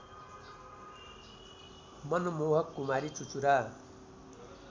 मनमोहक कुमारी चुचुरा